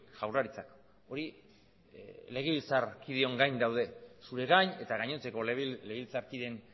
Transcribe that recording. jaurlaritzak hori legebiltzarkideon gain daude zure gain eta gainontzeko legebiltzarkideen